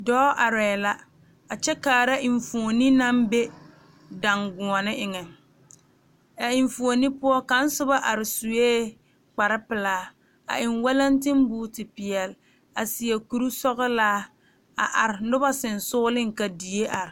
Dɔɔ are la a kyɛ kaare enfuune naŋ be dangɔɔne eŋa a enfuune poɔ kaŋ soba are suɛ kpare pelaa a e walantibooti peɛle a seɛ kuri sɔglaa a are noba sonsogle ka die are.